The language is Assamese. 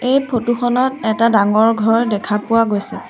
এই ফটো খনত এটা ডাঙৰ ঘৰ দেখা পোৱা গৈছে।